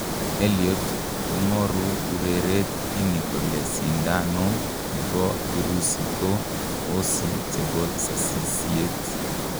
Elliot kongoru ureret ini kole sindano nepo kirusi ko hsi chepo sasisiet."